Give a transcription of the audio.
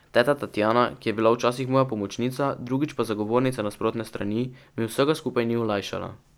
Teta Tatjana, ki je bila včasih moja pomočnica, drugič pa zagovornica nasprotne strani, mi vsega skupaj ni olajšala.